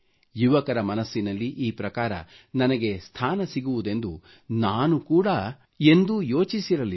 ಯುವಕರ ಮನಸ್ಸಿನಲ್ಲಿ ಈ ಪ್ರಕಾರ ನನಗೆ ಸ್ಥಾನ ಸಿಗುವುದೆಂದು ನಾನೂ ಕೂಡಾ ಎಂದೂ ಯೋಚಿಸಿರಲಿಲ್ಲ